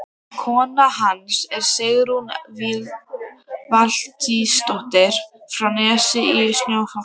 Kona hans er Sigrún Valtýsdóttir frá Nesi í Fnjóskadal.